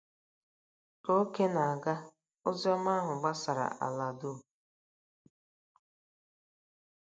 Ka oge na-aga, ozi ọma ahụ gbasara n'ala dum.